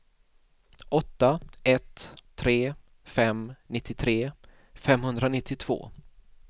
åtta ett tre fem nittiotre femhundranittiotvå